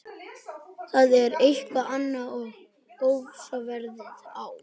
Það er eitthvað annað en ofsaveðrið á